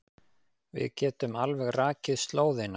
Við getum alveg rakið slóðina.